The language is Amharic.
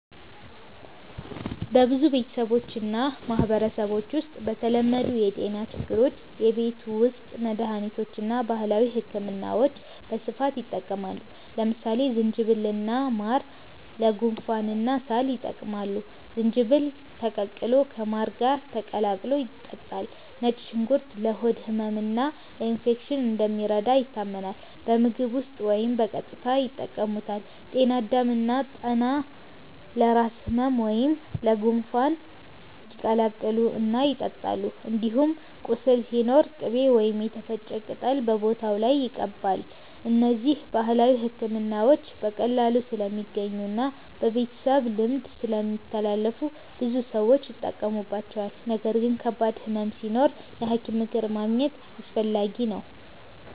በብዙ ቤተሰቦችና ማህበረሰቦች ውስጥ ለተለመዱ የጤና ችግሮች የቤት ውስጥ መድሃኒቶችና ባህላዊ ሕክምናዎች በስፋት ይጠቀማሉ። ለምሳሌ ዝንጅብልና ማር ለጉንፋንና ሳል ይጠቅማሉ፤ ዝንጅብል ተቀቅሎ ከማር ጋር ተቀላቅሎ ይጠጣል። ነጭ ሽንኩርት ለሆድ ህመምና ለኢንፌክሽን እንደሚረዳ ይታመናል፤ በምግብ ውስጥ ወይም በቀጥታ ይጠቀሙበታል። ጤና አዳም እና ጠና ለራስ ህመም ወይም ለጉንፋን ይቀቀላሉ እና ይጠጣሉ። እንዲሁም ቁስል ሲኖር ቅቤ ወይም የተፈጨ ቅጠል በቦታው ላይ ይቀባል። እነዚህ ባህላዊ ሕክምናዎች በቀላሉ ስለሚገኙና በቤተሰብ ልምድ ስለሚተላለፉ ብዙ ሰዎች ይጠቀሙባቸዋል። ነገር ግን ከባድ ህመም ሲኖር የሐኪም ምክር ማግኘት አስፈላጊ ነው።